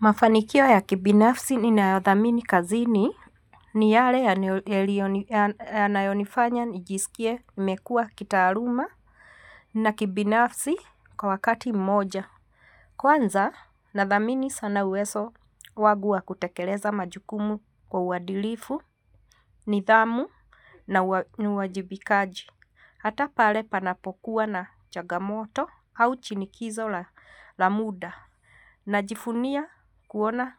Mafanikio ya kibinafsi ninayothamini kazini ni yale yanayonifanya nijisikie nimekua kitaaluma na kibinafsi kwa wakati mmoja. Kwanza nadtamini sana uwezo wangu wa kutekeleza majukumu kwa uadilifu, nidhamu na uwajibikaji. Hata pale panapokuwa na changamoto au shinikizo la muda. Najivunia kuona